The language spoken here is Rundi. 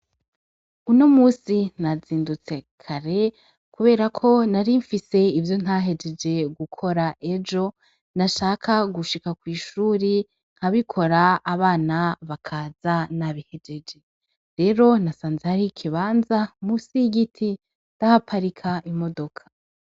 Uno musi nazindutse kare, kubera ko nari mfise ivyo ntahejeje gukora ejo nashaka gushika kw'ishuri nkabikora abana bakaza nabihejeje rero nasanze ari ikibanza musi y'igiti dahaparika imodoka.